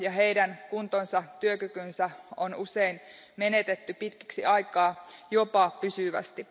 Ja heidän kuntonsa ja työkykynsä on usein menetetty pitkäksi aikaa, jopa pysyvästi.